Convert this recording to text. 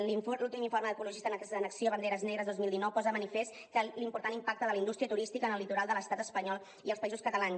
l’últim informe d’ecologistes en acció banderes negres dos mil dinou posa de manifest l’important impacte de la indústria turística en el litoral de l’estat espanyol i els països catalans